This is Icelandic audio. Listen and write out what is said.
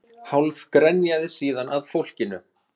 Hálf grenjaði síðan að fólkinu